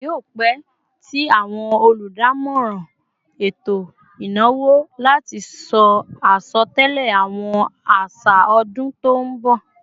Kí yio pẹ tí àwọn oludamoran eto ìnáwó láti sọ asotẹlẹ àwọn așa ọdún tó nbọ